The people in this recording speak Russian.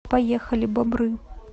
поехали бобры